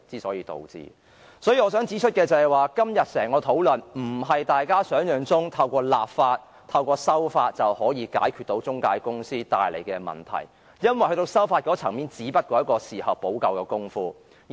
所以，我想指出的是，就今天整項的討論來說，並非如大家想象般可透過立法、修例便解決中介公司帶來的問題，因為修例只是一種事後補救的工夫。